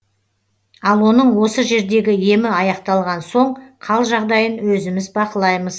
ал оның осы жердегі емі аяқталған соң қал жағдайын өзіміз бақылаймыз